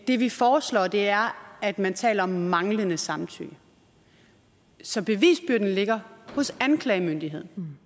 det vi foreslår er at man taler om manglende samtykke så bevisbyrden ligger hos anklagemyndigheden